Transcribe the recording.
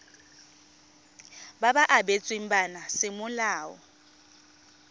ba ba abetsweng bana semolao